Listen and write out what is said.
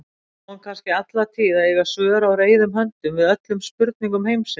Á hún kannski alla tíð að eiga svör á reiðum höndum við öllum spurningum heimsins?